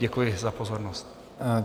Děkuji za pozornost.